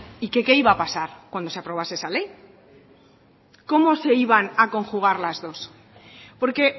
y que qué iba a pasar cuando se aprobase esa ley cómo se iban a conjugar las dos porque